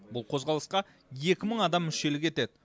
бұл қозғалысқа екі мың адам мүшелік етеді